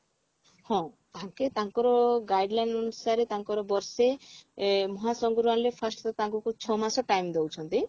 ହଁ ତାଙ୍କେ ତାଙ୍କର guideline ଅନୁସାରେ ତାଙ୍କର ବର୍ଷେ ଏ ମହାସଂଘରେ ଆଣିଲେ first ତାଙ୍କୁ ତ ଛଅ ମାସ time ଦଉଛନ୍ତି